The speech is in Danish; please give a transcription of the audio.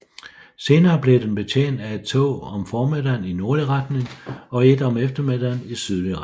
Senere blev den betjent af et tog om formiddagen i nordlig retning og et om eftermiddagen i sydlig retning